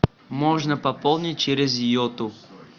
можно пополнить через йоту